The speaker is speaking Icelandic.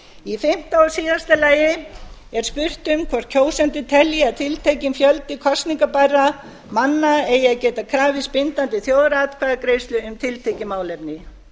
í fimmta og síðasta lagi er spurt um hvort kjósendur telji að tiltekinn fjöldi kosningabærra manna eigi að geta krafist bindandi þjóðaratkvæðagreiðslu um tiltekið málefni